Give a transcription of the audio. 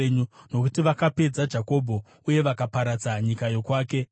nokuti vakapedza Jakobho uye vakaparadza nyika yokwake.